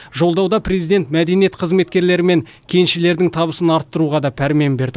жолдауда президент мәдениет қызметкерлері мен кеншілердің табысын арттыруға пәрмен берді